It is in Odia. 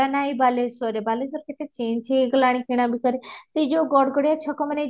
ଜାଗା ନାହିଁ ବାଲେଶ୍ବର ରେ ବାଲେଶ୍ବର କେତେ change ହେଇଗଲାଣି କିଣା ବିକା ରେ ସେ ଯୋଉଁ ଗଡ ଗଡିଆ ଛକ ମାନେ